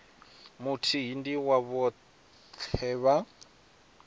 muthihi ndi wa vhoṱhe vha